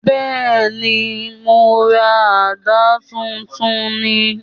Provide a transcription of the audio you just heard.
Bẹ́ẹ̀ni, mo ra àdá tuntun ni